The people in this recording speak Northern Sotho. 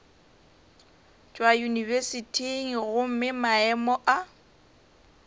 tšwa yunibesithing gomme maemo a